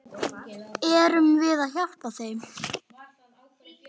Erum við að hjálpa þeim?